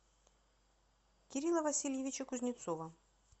кирилла васильевича кузнецова